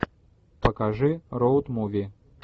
покажи роуд муви